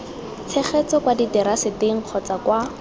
tshegetso kwa diteraseteng kgotsa kwa